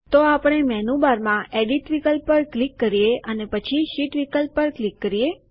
તો આપણે મેનુબારમાં એડિટ વિકલ્પ પર ક્લિક કરીએ અને પછી શીટ વિકલ્પ પર ક્લિક કરીએ